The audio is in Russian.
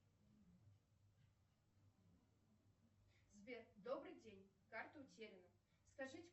сбер добрый день карта утеряна скажите